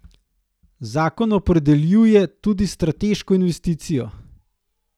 Zakon opredeljuje tudi strateško investicijo.